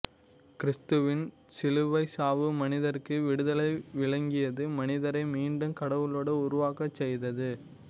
கிறிஸ்துவின் சிலுவைச் சாவு மனிதருக்கு விடுதலை வழங்கியது மனிதரை மீண்டும் கடவுளோடு உறவாடச் செய்தது